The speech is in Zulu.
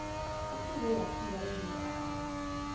isize yafika ezindlebeni